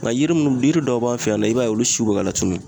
Nga yiri munnu yiri dɔw b'an fɛ yan nɔ , i b'a ye olu siw be ka latunu.